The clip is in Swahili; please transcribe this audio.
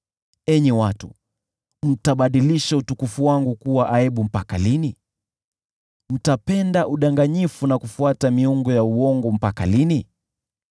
Enyi watu, mtabadilisha utukufu wangu kuwa aibu mpaka lini? Mtapenda udanganyifu na kufuata miungu ya uongo mpaka lini?